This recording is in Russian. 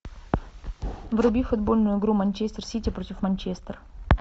вруби футбольную игру манчестер сити против манчестер